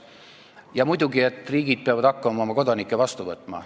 Ja muidugi peavad riigid hakkama oma kodanikke vastu võtma.